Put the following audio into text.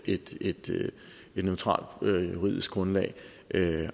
et et neutralt juridisk grundlag